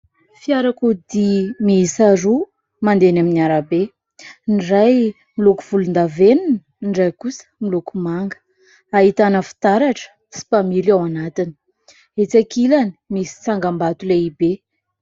Fiarakodia miisa roa mandeha eny amin'ny arabe ; ny iray miloko volondavenona, ny iray kosa miloko manga, ahitana fitaratra sy mpamily ao anatiny. Etsy ankilany misy tsangambato lehibe.